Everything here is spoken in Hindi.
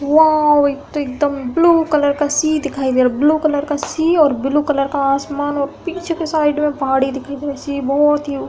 वाओ एक तो एकदम ब्लू कलर का सी दिखाई दे रहा है। ब्लू कलर का सी और ब्लू कलर का आसमान और पीछे की साइड में पहाड़ी दिखाई दे रहा है बहुत ही --